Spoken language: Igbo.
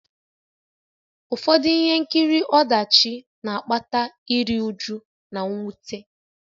Ụfọdụ ihe nkiri ọdachi na-akpata iru újú na mwute